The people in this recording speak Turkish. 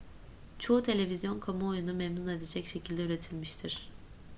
çoğu televizyon kamuoyunu memnun edecek şekilde üretilmiştir